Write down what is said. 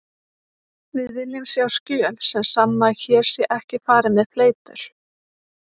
Við viljum sjá skjöl sem sanna að hér sé ekki farið með fleipur.